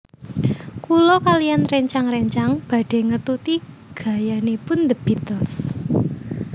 Kula kaliyan rencang rencang badhe ngetuti gayanipun The Beatles